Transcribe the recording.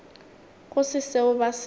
go se seo ba se